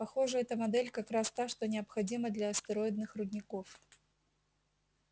похоже эта модель как раз та что необходима для астероидных рудников